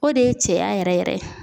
O de ye cɛya yɛrɛ yɛrɛ ye